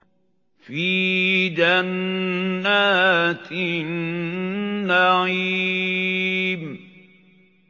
فِي جَنَّاتِ النَّعِيمِ